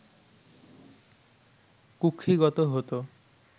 কুক্ষিগত হতো